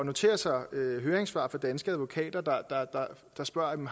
notere sig høringssvaret fra danske advokater der spørger om